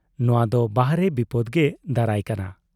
ᱱᱚᱣᱟ ᱫᱚ ᱵᱟᱦᱨᱮ ᱵᱤᱯᱚᱫᱽ ᱜᱮ ᱫᱟᱨᱟᱭ ᱠᱟᱱᱟ ᱾